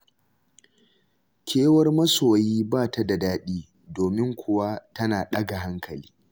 Kewar masoyi ba ta da daɗi, domin kuwa tana ɗaga hankali.